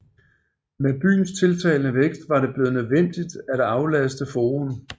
Med byens tiltagende vækst var det blevet nødvendigt at aflaste forum